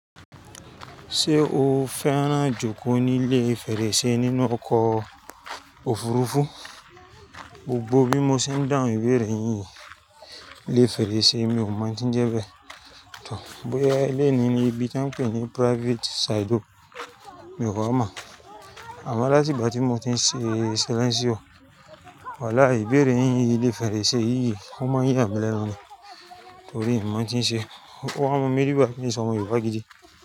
Ṣé o fẹ́ràn jókòó nílé fèrèsé nínú ọkọ̀ òfurufú? Gbogbo bí mo ṣe ń dáhùn ìbéèrè yín yìí, ile fèrèsé emi ò mọ̀ n tí ń jẹ́ bẹ́ẹ̀ tọ̀. Bóyá ilé ní ibi tí wọ́n ń pè ní private side o, mi ò wa mọ̀. Àmo là tí ìgbà tí mo ti ń ṣe silenṣí o. Wàláì béèrè yín ilé fèrèsé yìí, ó mọ ya mí lènu. Torí mi n mọ̀ tí ń ṣe. Ó wa mọ mi rí bá pé n o n se ọmọ Yorùbá gidi.